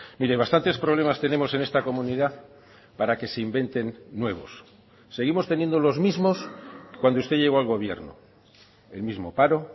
mire bastantes problemas tenemos en esta comunidad para que se inventen nuevos seguimos teniendo los mismos cuando usted llegó al gobierno el mismo paro